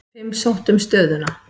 Fimm sóttu um stöðuna.